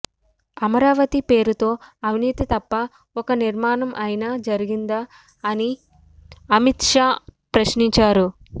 అమరావతి పేరుతో అవినీతి తప్ప ఒక్క నిర్మాణం అయినా జరిగిందా అని అమిత్ షా ప్రశ్నించారు